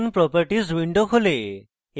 icons properties window খোলে